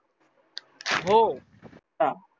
हो